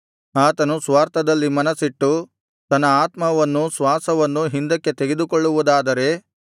ಆತನು ಸ್ವಾರ್ಥದಲ್ಲಿ ಮನಸ್ಸಿಟ್ಟು ತನ್ನ ಆತ್ಮವನ್ನೂ ಶ್ವಾಸವನ್ನೂ ಹಿಂದಕ್ಕೆ ತೆಗೆದುಕೊಳ್ಳುವುದಾದರೆ